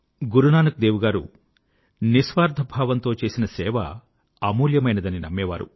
గురునానక్ దేవ్ గారు నిస్వార్థ భావంతో చేసిన సేవ అమూల్యమైనదని నమ్మేవారు